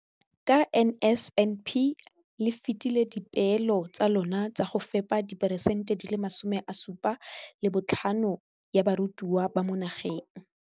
Ka NSNP le fetile dipeelo tsa lona tsa go fepa masome a supa le botlhano a diperesente ya barutwana ba mo nageng.